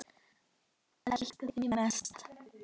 Elska þig mest.